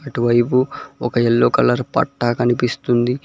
ఇటువైపు ఒక yellow colour పట్టా కనిపిస్తుంది.